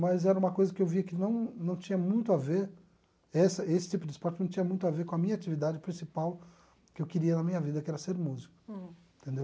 Mas era uma coisa que eu via que não não tinha muito a ver, essa esse tipo de esporte não tinha muito a ver com a minha atividade principal que eu queria na minha vida, que era ser músico. Hum. Entendeu?